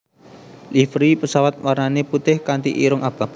Livery pesawat warnane putih kanti irung abang